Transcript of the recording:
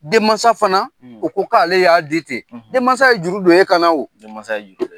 Denmasa fana o ko k'ale y'a de di denmasa ye juru don e kan na denmasa ye juru don